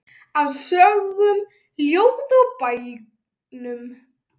Af sögum, ljóðum og bænum.